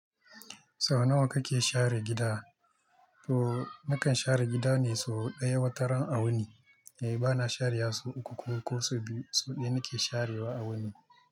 Sau nawa kake share gida? To nakan share gida ne sau ɗaya wataran a wani. Eh bana share wa sau uku ko ko sau biyu. Sau ɗaya nake sharewa a wani.